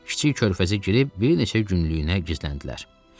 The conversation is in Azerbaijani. Kiçik körfəzə girib bir neçə günlükdüyünə gizləndilər.